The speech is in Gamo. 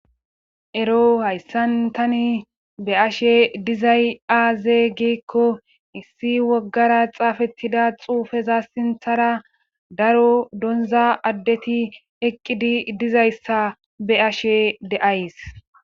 Ero hayssan tani be ashe dizay aaze giekko issi woggara xaafettida xuufeza sinthara daro donza addeti eqqidi dizayssa be ashe deays.